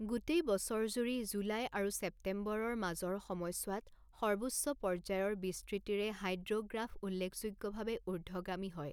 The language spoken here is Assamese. গোটেই বছৰজুৰি, জুলাই আৰু ছেপ্টেম্বৰৰ মাজৰ সময়ছোৱাত সৰ্বোচ্চ পৰ্যায়ৰ বিস্তৃতিৰে হাইড্ৰ'গ্ৰাফ উল্লেখযোগ্যভাৱে উৰ্দ্ধগামী হয়।